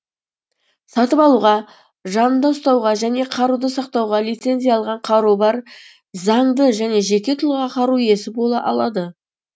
сатып алуға жанында ұстауға және қаруды сақтауға лицензия алған қаруы бар заңды және жеке тұлға қару иесі бола алады